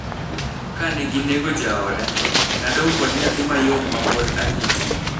"Kane ginego jaoda, nadong kod nyathi mayom ma pod arito.